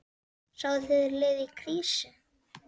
Sáuð þið lið í krísu?